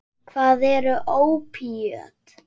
Hvað eru ópíöt?